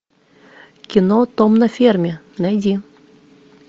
кино том на ферме найди